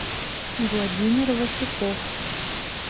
владимир васюков